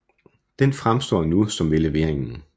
Den fremstår nu som ved leveringen